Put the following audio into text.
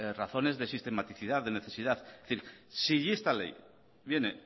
razones de sistematicidad de necesidad es decir si esta ley viene